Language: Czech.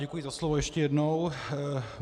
Děkuji za slovo ještě jednou.